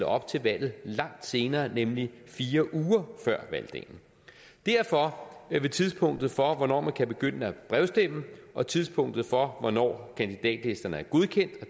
op til valget langt senere nemlig fire uger før valgdagen derfor vil tidspunktet for hvornår man kan begynde at brevstemme og tidspunktet for hvornår kandidatlisterne er godkendt og